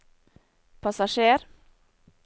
passasjer